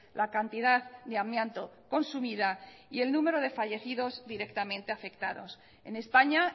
la cantidad de amianto consumida y el número de fallecidos directamente afectados en españa